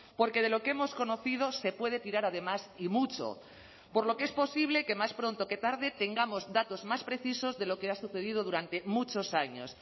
porque de lo que hemos conocido se puede tirar además y mucho por lo que es posible que más pronto que tarde tengamos datos más precisos de lo que ha sucedido durante muchos años